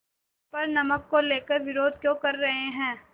पर नमक को लेकर विरोध क्यों कर रहे हैं